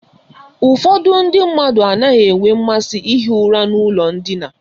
Ụfọdụ ndị mmadụ anaghị enwe mmasị ihi ụra n'ụlọ ndina.